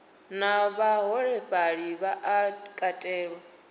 na vhaholefhali vha a katelwa